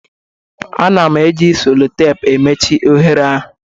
Ana m eji solotapu mechie oghere ahụ